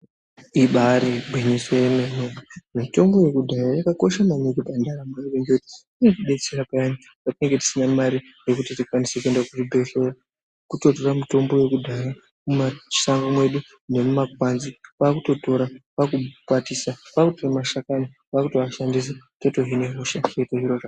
Ibari gwinyiso remene mitombo yekudhaya yakakosha maningi pandaramo yevantu ngekuti inotidetsera payani patinenge tisina Mari yekuti tikwanise kuenda kuzvibhedhlera kutotora mitombo yedu yekudhaya yemumashango nemumagwanzi kwakutotora kwakukwatisa kwatora mashani kwakutomatora kuhina hosha.